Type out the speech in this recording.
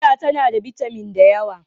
Fiya tana da bitamin da yawa.